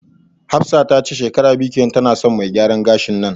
Hafsat tace shekara biyu kenan tana son me gyaran gashin nan